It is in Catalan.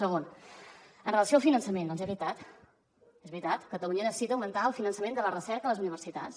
segon amb relació al finançament doncs és veritat és veritat catalunya necessita augmentar el finançament de la recerca a les universitats